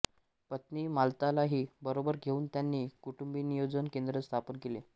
पत्नी मालतीलाही बरोबर घेऊन त्यांनी कुटुंबनियोजन केंद्र स्थापन केले